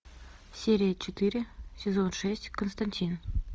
серия четыре сезон шесть константин